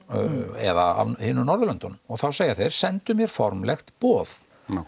eða af hinum Norðurlöndunum þá segja þeir sendu mér formlegt boð